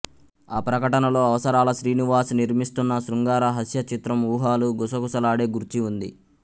ఆ ప్రకటనలో అవసరాల శ్రీనివాస్ నిర్మిస్తున్న శృంగార హాస్య చిత్రం ఊహలు గుసగుసలాడే గూర్చి ఉంది